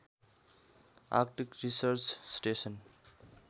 Arctic research station